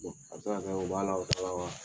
a bɛ se ka kɛ o b'a la o t'a la wa.